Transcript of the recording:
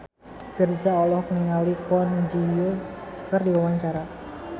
Virzha olohok ningali Kwon Ji Yong keur diwawancara